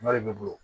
Nɔrɔ de bɛ bolo